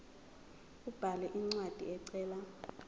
abhale incwadi ecela